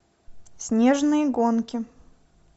снежные гонки